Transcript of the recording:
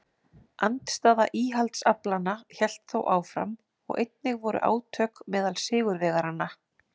Andstaða íhaldsaflanna hélt þó áfram og einnig voru átök meðal sigurvegaranna.